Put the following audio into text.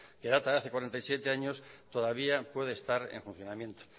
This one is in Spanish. que data de hace cuarenta y siete años todavía puede estar en funcionamiento